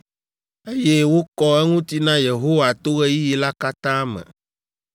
eye wokɔ eŋuti na Yehowa to ɣeyiɣi la katã me.